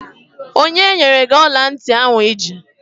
Onye nyere gị ọla ntị ahụ I ji?